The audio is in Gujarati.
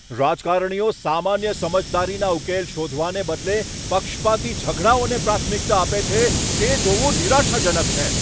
રાજકારણીઓ સામાન્ય સમજદારીના ઉકેલ શોધવાને બદલે પક્ષપાતી ઝઘડાઓને પ્રાથમિકતા આપે છે, તે જોવું નિરાશાજનક છે.